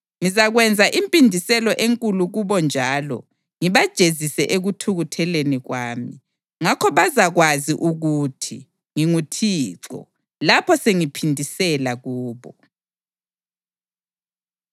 Ngizakwenza impindiselo enkulu kubo njalo ngibajezise ekuthukutheleni kwami. Ngakho bazakwazi ukuthi nginguThixo, lapho sengiphindisela kubo.’ ”